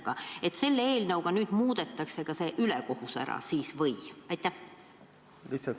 Kas siinse eelnõuga kaotatakse see ülekohus ära?